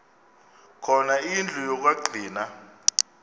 khona indlu yokagcina